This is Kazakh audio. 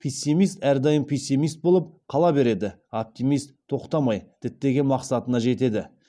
пессимист әрдайым пессимист болып қала береді оптимист тоқтамай діттеген мақсатына жетеді